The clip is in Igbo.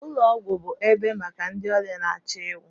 ụlọ ọgwụ bụ ebe maka ndị ọrịa na-achọ ịnwụ